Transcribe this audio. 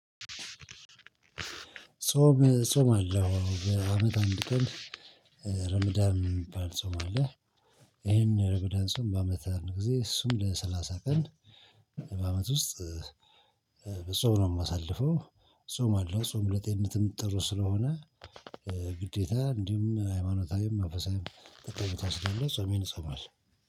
ጻም እጾማለሁ በአመት አንድ ቀን ረመዳን የሚባል ጻም አለ። ይሄን ረመዳን ጻም በአመት አንድ ጊዜ እሱም ለሰላሳ ቀን በአመት ውስጥ። በጾም ነው ማሳልፈው። እጾማለሁ ጾም ለጤንነትም ጥሩ ስለሆነ። ግዴታ እንዲሁም ሃይማኖታዊም መንፈሳዊም ጠቀሜታ ስላለው ጾሜን እጾማለሁ